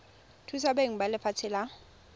thusa beng ba lefatshe la